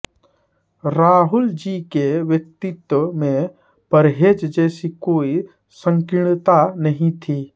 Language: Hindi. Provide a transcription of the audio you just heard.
राहुलजी के व्यक्तित्व में परहेज जैसी कोई संकीर्णता नहीं थी